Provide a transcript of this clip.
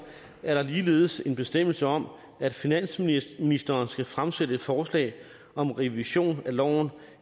er der ligeledes en bestemmelse om at finansministeren skal fremsætte et forslag om revision af loven